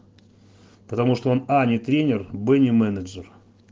потому что он а не тренер б не менеджер